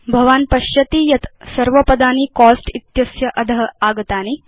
भवान् पश्यति यत् सर्व पदानि कोस्ट इत्यस्य अध आगतानि